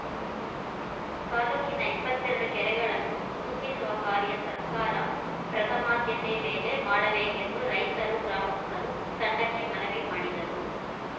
ತಾಲೂಕಿನ ಇಪ್ಪತ್ತೆರಡು ಕೆರೆಗಳನ್ನು ತುಂಬಿಸುವ ಕಾರ್ಯ ಸರ್ಕಾರ ಪ್ರಥಮಾದ್ಯತೆ ಮೇಲೆ ಮಾಡಬೇಕೆಂದು ರೈತರು ಗ್ರಾಮಸ್ಥರು ತಂಡಕ್ಕೆ ಮನವಿ ಮಾಡಿದರು